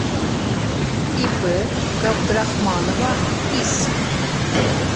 ип габдрахманова ис